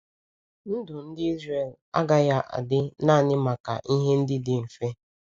Ndụ ndị Izrel agaghị adị naanị maka ihe ndị dị mfe.